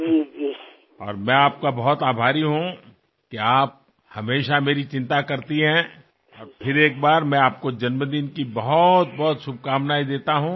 तुम्ही नेहमी माझ्याबद्दल काळजी करता त्याबद्दल मी तुमचा खूप आभारी आहे आणि पुन्हा एकदा मी तुम्हाला वाढदिवसाच्या अनेकानेक शुभेच्छा देतो